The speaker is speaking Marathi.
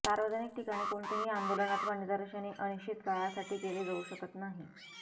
सार्वजनिक ठिकाणी कोणतेही आंदोलन अथवा निदर्शने अनिश्चित काळासाठी केले जाऊ शकत नाही